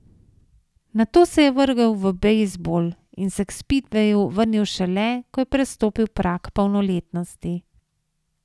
Nato se je vrgel v bejzbol in se k spidveju vrnil šele, ko je prestopil prag polnoletnosti.